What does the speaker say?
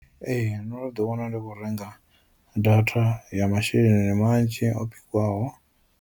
Ee ndo no ḓi wana ndi kho renga data ya masheleni manzhi o .